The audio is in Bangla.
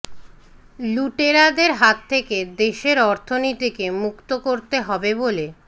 লুটেরাদের হাত থেকে দেশের অর্থনীতিকে মুক্ত করতে হবে বলে